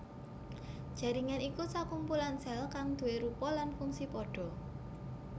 Jaringan iku sakumpulan sèl kang duwé rupa lan fungsi padha